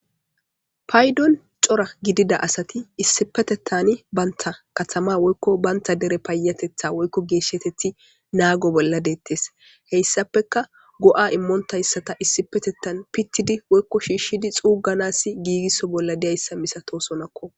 Paydon cora gidida asati issipetetani banta katama woyko banta dera payatetna woylo geeshatethi nago bolla deetes hessapeka go'a immontaysa pitidi woyko shiishidi xuuganasi giigiso bolla diyaysa milatosonako